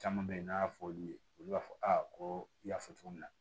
Caman bɛ yen n'a y'a fɔ olu ye olu b'a fɔ ko i y'a fɔ cogo min na